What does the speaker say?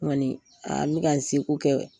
N kɔni aa n bƐ ka n seko kɛ